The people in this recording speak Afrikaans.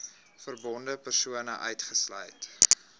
verbonde persone uitgesluit